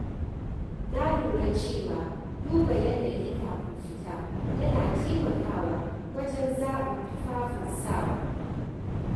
Na lura cewa duba yanayi kafin fita yana taimakawa wajen zaɓin tufafin sawa.